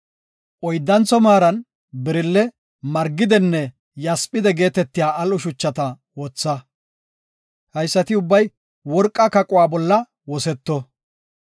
Oyddantho maaran birelle, margide, yasphide geetetiya al7o shuchata wotha. Haysati ubbay worqa kaquwa bolla woseto.